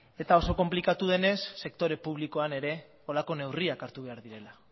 eta oso konplikatua denez sektore publikoan ere horrelako neurriak hartu behar direla